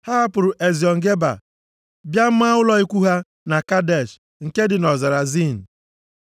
Ha hapụrụ Eziọn Geba bịa maa ụlọ ikwu ha na Kadesh, nke dị nʼọzara Zin.